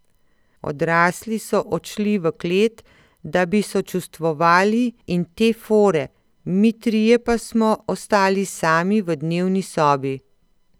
Odrasli so odšli v klet, da bi sočustvovali in te fore, mi trije pa smo ostali sami v dnevni sobi.